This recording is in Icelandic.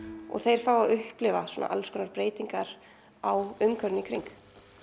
og þeir fá að upplifa alls konar breytingar á umhverfinu í kring